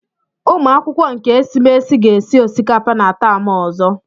Ụmụakwụkwọ nke esimesi ga-esi osikapa na taam ozo.